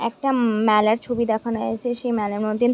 একটা ম মেলার ছবি দেখানো হয়েছে। সেই মেলার মধ্যে--